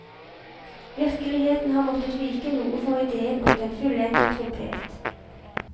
Virkeligheten har måttet vike noe for ideen om den fullendte trompet.